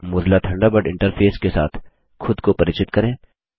पहले Mozilla Thunderbird interface के साथ खुद को परिचित करें